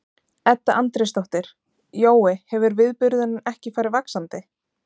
Edda Andrésdóttir: Jói, hefur viðburðurinn ekki farið vaxandi?